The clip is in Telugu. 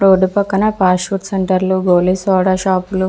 రోడ్డు పక్కన ఫాస్ట్ ఫుడ్ సెంటర్లు గోలి సోడా షాప్ లు --